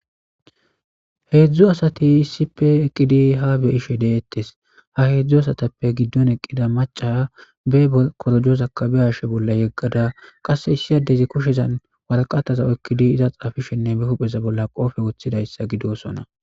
heedzdzu asati issipe eqqidi ha be ishe deettes ha heedzdzu asatappe giddon eqqida maca be korojozakabiyashe bolla yeggada qasse issiyadezi koshezan waraqataza ekkidi iza xaafishenne be hupheza bolla qoofe woththidayssa gidosona